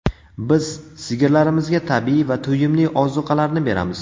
Biz sigirlarimizga tabiiy va to‘yimli ozuqalarni beramiz.